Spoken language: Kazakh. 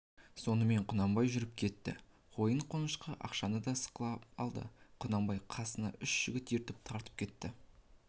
сонымен құнанбай жүріп кетті қойын-қонышқа ақшаны да сықап алды құнанбай қасына үш жігіт ертіп тартып кетті